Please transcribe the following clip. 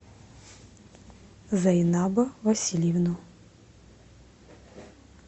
зайнаба васильевну